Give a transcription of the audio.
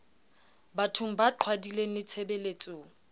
bathong ba qhwadileng le tshebeletsong